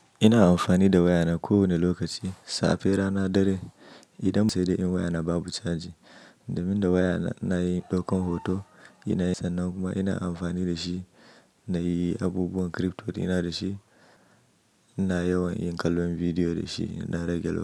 Ina amfani da wayana kowane lokaci, safe, rana, dare. Idan ba sai dai in wayana babu caji. Domin da wayana inayin ɗaukan hoto, ina yin sannan kuma ina amfani da shi na yi abubuwan crypto ɗina da shi, ina yawan yin kallon bidiyo da shi ina rage lokaci.